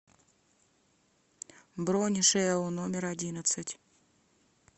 бронь жэу номер одиннадцать